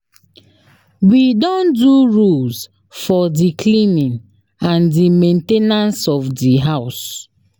We don do rules for di cleaning and di main ten ance of di house.